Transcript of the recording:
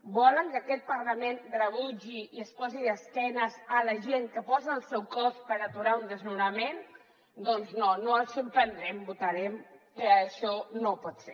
volen que aquest parlament rebutgi i es posi d’esquena a la gent que posa el seu cos per aturar un desnonament doncs no no els sorprendrem votarem que això no pot ser